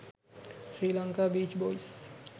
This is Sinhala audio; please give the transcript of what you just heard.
sri lanka beach boys